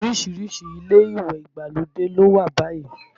Orísìírísìí ilé ìwẹ̀ ìgbàlódé ló wà báyìí